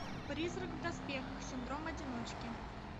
призрак в доспехах синдром одиночки